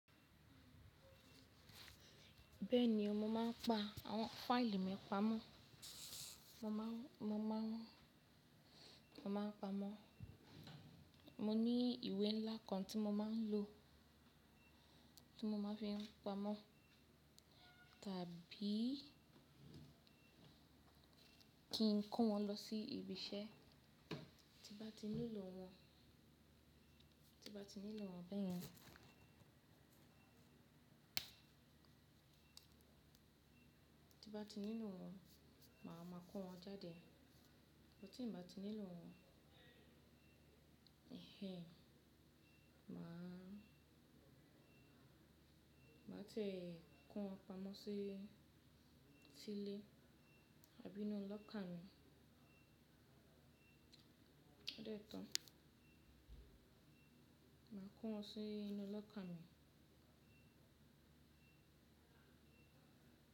Bẹ́ẹ̀ni o, mo máa ń pa àwọn fáìlì mi pamọ́ mo maa n mo maa n Mo máa ń pamo. Mo ní ìwé ńlá kan tí mo máa ń lò tí mo máa ń fi pámo tàbí kí n kó wọn lọ sí ibiṣẹ́. Ti bá ti nílò wọ́n, ti bá ti nílò wọ́n bẹ́ẹ̀ni. Ti bá ti nílò wọ́n, màá máa kó wọ́n jáde. Bó ti bá ti nílò wọ́n, èhn èhn, màá tẹ̀ kó wọn pamọ́ sí ilé, àbí inú locker mi. Loto, màá kó wọ́n sí inú locker mi.